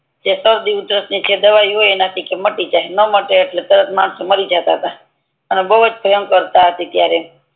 કે જે સરડી ઉધરસ ની દવા હોય એના થી માટી જાહે ન માટે એટલે તરત માનહો મારી જાય પાછા અને બૌ જ ભયંકર હતુ ત્યારે